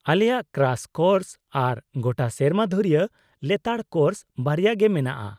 -ᱟᱞᱮᱭᱟᱜ crash course ᱟᱨ ᱜᱚᱴᱟ ᱥᱮᱨᱢᱟ ᱫᱷᱩᱨᱭᱟᱹ ᱞᱮᱛᱟᱲ ᱠᱳᱨᱥ ᱵᱟᱨᱭᱟ ᱜᱮ ᱢᱮᱱᱟᱜᱼᱟ ᱾